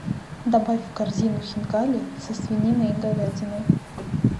добавь в корзину хинкали со свининой и говядиной